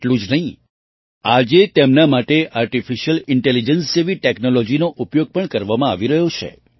એટલું જ નહીં આજે તેમના માટે આર્ટિફિશિયલ ઇન્ટેલિજન્સ જેવી ટૅક્નૉલૉજીનો ઉપયોગ પણ કરવામાં આવી રહ્યો છે